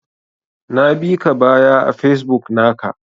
Na bika baya a Facebook naka.